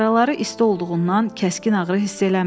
Yaraları isti olduğundan kəskin ağrı hiss eləmirdi.